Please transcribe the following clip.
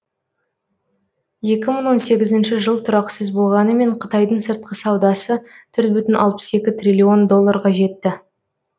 екі мың он сегізінші жыл тұрақсыз болғанымен қытайдың сыртқы саудасы төрт бүтін алпыс екі триллион долларға жетті